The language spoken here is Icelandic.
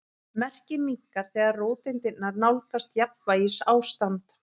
Merkið minnkar þegar róteindirnar nálgast jafnvægisástand.